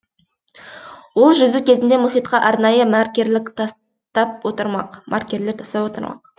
ол жүзу кезінде мұхитқа арнайы маркерлер тастап отырмақ